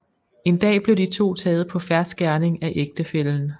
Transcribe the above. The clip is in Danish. En dag blev de to taget på fersk gerning af ægtefællen